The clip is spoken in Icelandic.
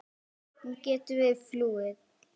Hún gæti verið flúin.